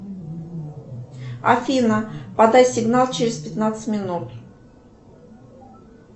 афина подай сигнал через пятнадцать минут